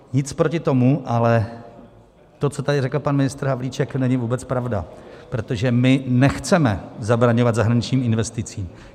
Nic proti tomu, ale to, co tady řekl pan ministr Havlíček, není vůbec pravda, protože my nechceme zabraňovat zahraničním investicím.